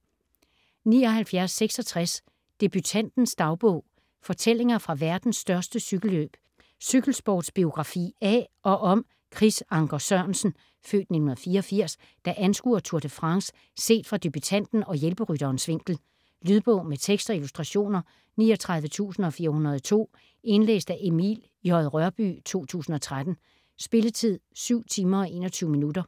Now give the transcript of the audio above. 79.66 Debutantens dagbog: fortællinger fra verdens største cykelløb Cykelsportsbiografi af og om Chris Anker Sørensen (f. 1984), der anskuer Tour de France set fra debutanten og hjælperytterens vinkel. Lydbog med tekst og illustrationer 39402 Indlæst af Emil J. Rørbye, 2013. Spilletid: 7 timer, 21 minutter.